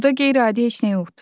Burda qeyri-adi heç nə yoxdur.